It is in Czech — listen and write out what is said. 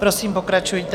Prosím, pokračujte.